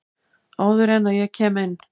Áður en að ég kem inn.